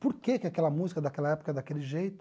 Por que que aquela música daquela época é daquele jeito?